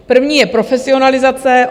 První je profesionalizace.